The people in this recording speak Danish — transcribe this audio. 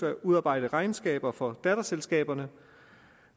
at udarbejde regnskaber for datterselskaberne